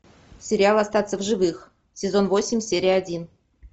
сериал остаться в живых сезон восемь серия один